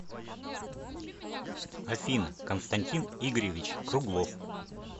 афина константин игоревич круглов